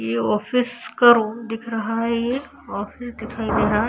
ये ऑफिस का दिख रहा है ये ऑफिस दिखाई दे रहा है।